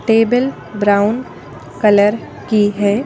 Table brown colour की है।